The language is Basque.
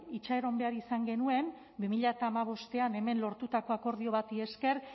itxaron behar izan genuen bi mila hamabostean hemen lortutako akordio bati esker